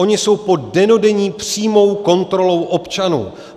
Ony jsou pod dennodenní přímou kontrolou občanů.